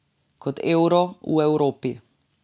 Kot euro v Evropi.